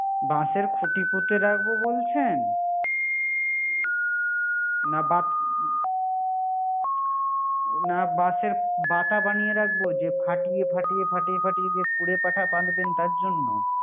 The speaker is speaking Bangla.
বাশের খুটি পুতে রাখবো বলছেন না বাত না বাশের বাতা বানিয়ে রাখবো যে ফাটিয়ে ফাটিয়ে ফাটিয়ে ফাটিয়ে যে কুড়ে পাঠা বাঁধবেন তার জন্য